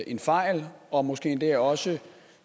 en fejl og måske endda også